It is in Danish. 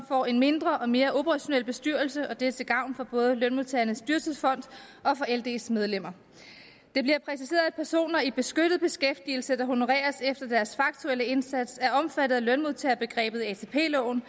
får en mindre og mere operationel bestyrelse og det er til gavn for både lønmodtagernes dyrtidsfond og for lds medlemmer det bliver præciseret at personer i beskyttet beskæftigelse der honoreres efter deres faktuelle indsats er omfattet af lønmodtagerbegrebet i atp loven